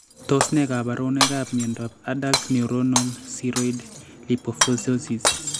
Tos ne kaborunoikap miondop Adult neuronal ceroid lipofuscinosis